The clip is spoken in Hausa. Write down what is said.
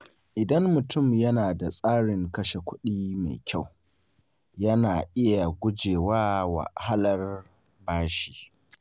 Idan mutum yana da tsarin kashe kuɗi mai kyau, yana iya guje wa wahalar bashi.